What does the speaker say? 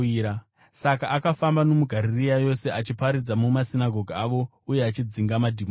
Saka akafamba nomuGarirea yose, achiparidza mumasinagoge avo uye achidzinga madhimoni.